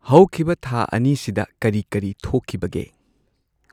ꯍꯧꯈꯤꯕ ꯊꯥ ꯑꯅꯤꯁꯤꯗ ꯀꯔꯤ ꯀꯔꯤ ꯊꯣꯛꯈꯤꯕꯒꯦ꯫